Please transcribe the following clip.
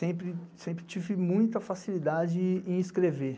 Sempre tive muita facilidade em escrever.